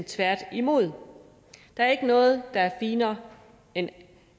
tværtimod der er ikke noget der er finere end